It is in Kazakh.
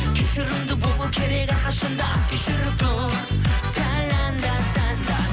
кешірімді болу керек әрқашанда кешіріп тұр сәл анда санда